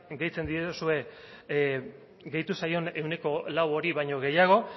deitzen diozue gehitu zaion ehuneko lau hori baino gehiago